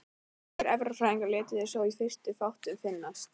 Margir erfðafræðingar létu sér þó í fyrstu fátt um finnast.